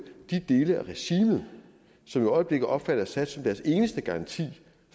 de dele af regimet som i øjeblikket opfatter assad som deres eneste garanti